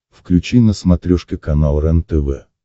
включи на смотрешке канал рентв